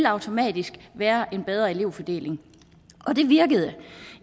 automatisk være en bedre elevfordeling og det virkede